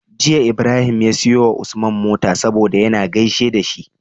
Jiya Ibrahim ya siyo wa Usman mota saboda yAna gaishe da shi